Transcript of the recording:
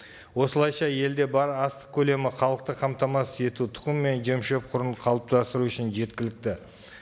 осылайша елде бар астық көлемі халықты қамтамасыз ету тұқым мен жем шөп құруын қалыптастыру үшін жеткілікті